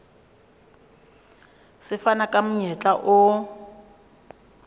se fana ka monyetla o